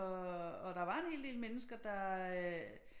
Og og der var en hel del mennesker der